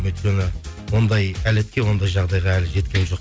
өйткені ондай ондай жағдайға әлі жеткенім жоқ